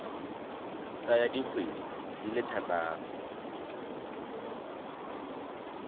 tsaya dikgwedi di le thataro